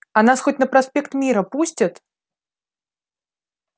а нас хоть на проспект мира пустят